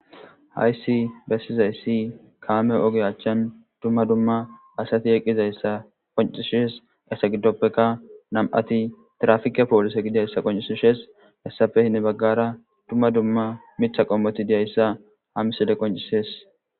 hayssi bessizayssi kaame oge achchan dumma dumma asati eqqizayssa qoncishes essa giddoppeka nam7ati trafike poolise gidayssa qoncisishes hessafehne baggara dumma dumma mitha qommoti diyayssa hamiside qoncisees